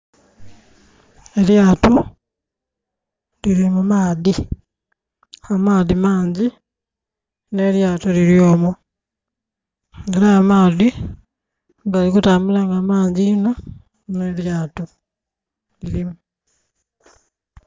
Elyato liri mu maadhi, amaadhi mangi ne lyato liri omwo era amaadhi gali kutambula nga mangi inho ne lyato lirimu.